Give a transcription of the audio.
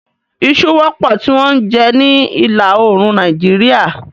Isu wọ́pọ̀ tí wọ́n ń jẹ ní ìlà oòrùn Nàìjíríà.